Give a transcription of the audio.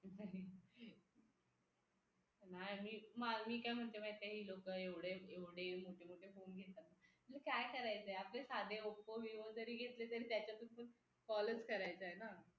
नाय मी काय म्हणते माहिती ही लोक एवढे एवढे मोठे मोठे फोन घेतात म्हणजे काय करायचे आपल साध oppo vivo जरी घेतलं तरी त्याच्यातून call च करायचंय ना